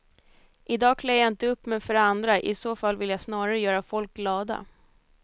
I dag klär jag inte upp mig för andra, i så fall vill jag snarare göra folk glada.